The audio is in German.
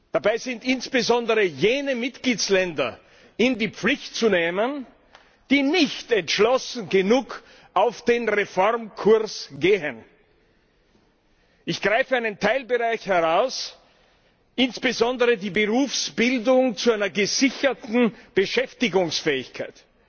Dabei sind insbesondere jene Mitgliedsländer in die Pflicht zu nehmen, die nicht entschlossen genug auf den Reformkurs gehen. Ich greife einige Teilbereiche heraus insbesondere die Berufsbildung zu einer gesicherten Beschäftigungsfähigkeit,